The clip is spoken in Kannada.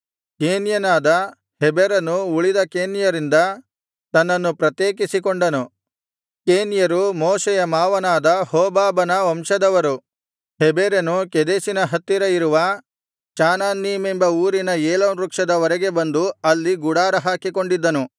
ಕೇನ್ಯನಾದ ಹೆಬೆರನು ಉಳಿದ ಕೇನ್ಯರಿಂದ ತನ್ನನ್ನು ಪ್ರತ್ಯೇಕಿಸಿಕೊಂಡನು ಕೇನ್ಯರು ಮೋಶೆಯ ಮಾವನಾದ ಹೋಬಾಬನ ವಂಶದವರು ಹೆಬೆರನು ಕೆದೆಷಿನ ಹತ್ತಿರ ಇರುವ ಚಾನನ್ನೀಮೆಂಬ ಊರಿನ ಏಲೋನ್ ವೃಕ್ಷದ ವರೆಗೆ ಬಂದು ಅಲ್ಲಿ ಗುಡಾರ ಹಾಕಿಕೊಂಡಿದ್ದನು